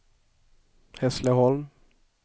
Hässleholm